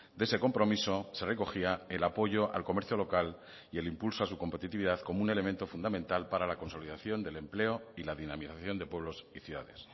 de ese compromiso se recogía el apoyo al comercio local y el impulso a su competitividad como un elemento fundamental para la consolidación del empleo y la dinamización de pueblos y ciudades